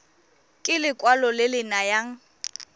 ke lekwalo le le nayang